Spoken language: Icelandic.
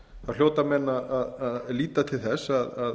hljóta menn að líta til þess að